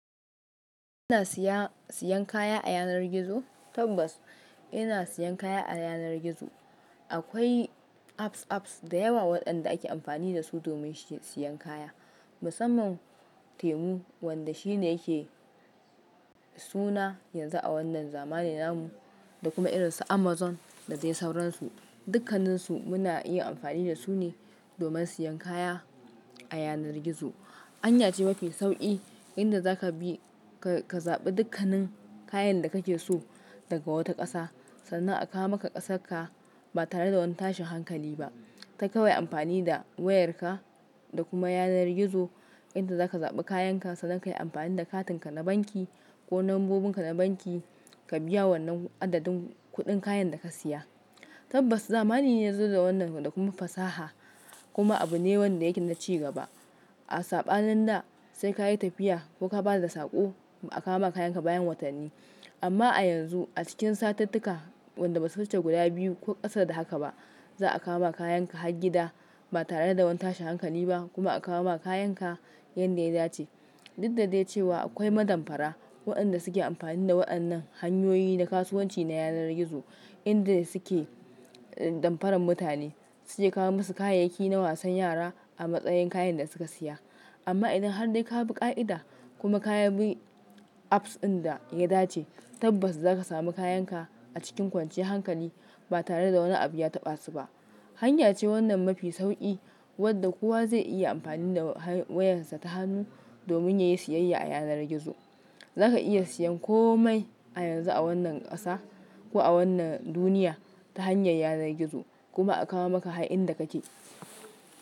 Ina siya, siyan kaya a yanar gizo tabbas ina siyan kaya a yanar gizo. Akwai apps-apps da yawa waɗanda ake amfani da su domin shi siyan kaya. Musamman temu wanda shi ne yake, suna yanzu a wannan zamanin namu da kuma irinsa Amazon, da dai sauransu. Dukkaninsu muna iya amfani da su ne domin siyan kaya a yanar gizo. Hanya ce mafi sauƙi, inda za ka bi ka, ka zaɓi dukkanin kayan da kake so daga wata ƙasa, sannan a kawo maka ƙasar ka, ba tare da wani tashi hankali ba. Ta kawai amfani da wayar ka da kuma yanar gizo, inda za ka zaɓi kayan ka sannan ka yi amfani da katinka na banki, ko lambobin ka na banki, ka biya wannan adadin kuɗin kayan da ka siya. Tabbas zamani ne ya zo da wannan da kuma fasaha, kuma abu ne wanda yake na ci gaba. A saɓani nin da sai ka yi tafiya, ko ka ba da saƙo ba a kawo maka kayan ka bayan watan ni. Amma a yanzu a cikin satuttuka, wanda ba su wuce guda biyu ko ƙasa da haka ba za a kawo maka kayanka har gida, ba tare da wani tashi hankali ba kuma a kawo maka kayan ka yanda ya dace. Duk da dai cewa akwai madamfara, waɗanda suke amfani da waɗannan hanyoyi na kasuwanci na yanar gizo, inda suke damfaran mutane, suke kawo musu kayayyaki na wasan yara a matsayin kayan da suka siya. Amma idan har dai ka bi ƙa'ida kuma ka bi apps ɗin da ya dace, tabbas za ka sami kayan ka a cikin kwanciyar hankali ba tare da wani abu ya taɓa su ba. Hanya ce wannan mafi sauƙi, wadda kowa zai iya amfani da wayar sa ta hannu domin ya yi siyayya a yanar gizo. Za ka iya siyan komai a yanzu a wannan ƙasa ko a wannan duniya ta hanyar yanar gizo kuma a kawo maka har inda kake.